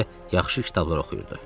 Özü də yaxşı kitablar oxuyurdu.